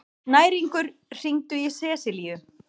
Snæringur, hringdu í Seselíu.